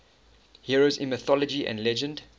heroes in mythology and legend